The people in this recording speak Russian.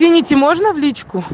извините можно влить